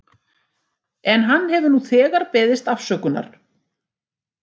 En hann hefur nú þegar beðist afsökunar.